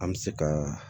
An bɛ se ka